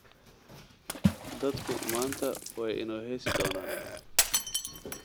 Dadku maanta way inoo heesi doonaan.